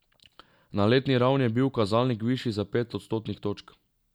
Na letni ravni je bil kazalnik višji za pet odstotnih točk.